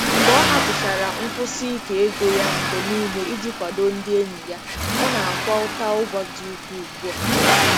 Mgbe ọ hapụchara nkwụsi ike ego ya mgbe niile iji kwado ndị enyi ya, ọ na-akwa ụta ụgwọ dị ukwuu ugbu a.